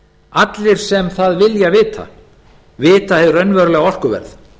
allir sem það vilja vita vita hið raunverulega orkuverð